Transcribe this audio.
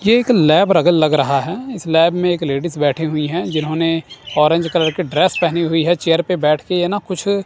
ये एक लैब रगल लग रहा है इस लैब में एक लेडिस बैठी हुई हैं जिन्होंने ऑरेंज कलर की ड्रेस पहनी हुई है चेयर पे बैठ के ये ना कुछ--